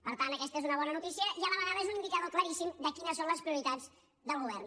per tant aquesta és una bona notícia i a la vegada és un indicador claríssim de quines són les prioritats del govern